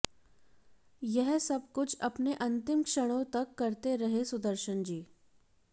यह सब कुछ अपने अंतिम क्षणों तक करते रहे सुदर्शन जी